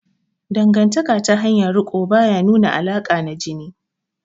Dangantaka ta hanyar riko ba ya nuna alaƙa na jini